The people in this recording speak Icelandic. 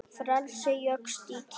Frelsi jókst í Kína.